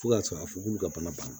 Fo ka sɔrɔ a fɔ k'olu ka bana